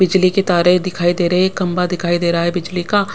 बिजली के तारे दिखाई दे रहे हैं कंबा दिखाई दे रहा है बिजली का--